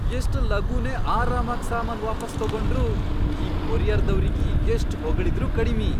ಎಷ್ಟ್ ಲಗೂನೇ ಆರಾಮಾಗ್ ಸಾಮಾನ್ ವಾಪಾಸ್ ತೊಗೊಂಡ್ರು, ಈ ಕೊರಿಯರ್ದವ್ರಿಗಿ ಎಷ್ಟ್ ಹೊಗಳಿದ್ರೂ ಕಡಿಮಿ.